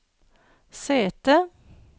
sete